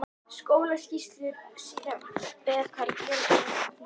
Skólaskýrslur sýna vel hvað er að gerast á þessum tíma.